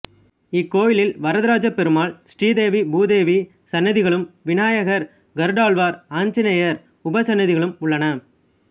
இக்கோயிலில் வரதராஜப்பெருமாள் ஸ்ரீதேவி பூதேவி சன்னதிகளும் விநாயகர் கருடாழ்வார் ஆஞ்சநேயர் உபசன்னதிகளும் உள்ளன